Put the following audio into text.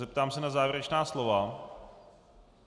Zeptám se na závěrečná slova.